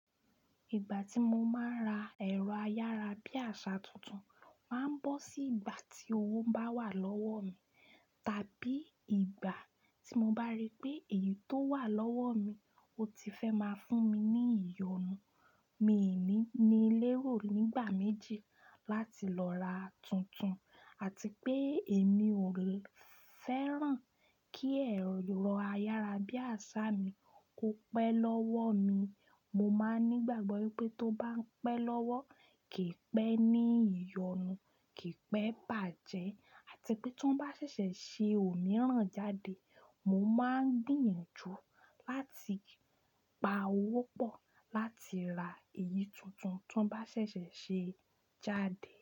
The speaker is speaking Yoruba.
Ìgbà tí mo máa ń ra ẹ̀rọ ayára bí àṣà tuntun, màá ń bọ́ sí ìgbà tí owó bá wà lọ́wọ́ mi, tàbí ìgbà tí mo bá rí pé èyí tó wà lọ́wọ́ mi, ó ti fẹ́ máa fún mi ní ìyọnu. Mí ìní ní lérò nígbà méjì láti lọ ra tuntun àti pé èmi ò fẹ́ràn kí ẹ̀rọ ayára bí àṣà mí kó pẹ́ lọ́wọ́ mi. Mo máa ń ní ìgbàgbọ́ pé tó bá ń pẹ́ lọ́wọ́, kì í pẹ́ ní ìyọnu, kì í pẹ́ bàjẹ́, àti pé tó bá ṣẹ̀ṣẹ̀ ṣe òmíràn jáde, mo máa ń gbìyànjú láti pa owó pọ̀ láti ra èyí tuntun tó bá ṣẹ̀ṣẹ̀ ṣe jáde.